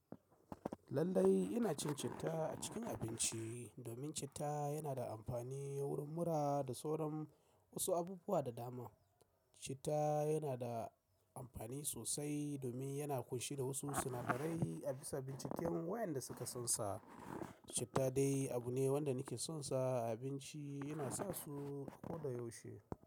Lallai ina cin citta a cikin abinci domin citta yana da amfani wurin mura da sauran wasu abubuwa da dama. Citta yana da amfani sosai domin yana ƙunshe da wasu sinadarai a bisa binciken wayanda suka sansa. Citta dai abu ne wanda nake son sa a abinci yana sa su ko da yaushe.